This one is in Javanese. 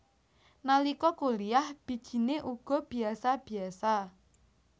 Nalika kuliyah bijine uga biyasa biyasa